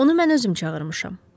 Onu mən özüm çağırmışam.